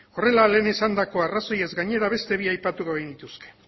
horrela lehen esandako arrazoiez gainera beste bi aipatuko genituzke